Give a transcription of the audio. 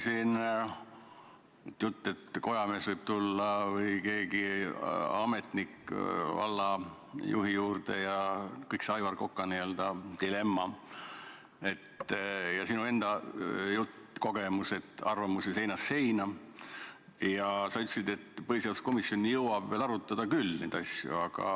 Siin oli juttu, et kojamees või keegi ametnik võib tulla vallajuhi juurde, kõik see Aivar Koka n-ö dilemma ja sinu enda kogemus, et arvamusi on seinast seina, ja sa ütlesid, et põhiseaduskomisjon jõuab veel arutada neid asju küll.